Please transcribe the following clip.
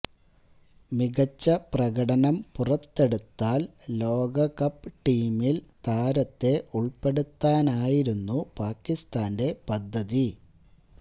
മികച്ച പ്രകടനം പുറത്തെടുത്താല് ലോകകപ്പ് ടീമില് താരത്തെ ഉള്പ്പെടുത്താനായിരുന്നു പാകിസ്താന്റെ പദ്ധതി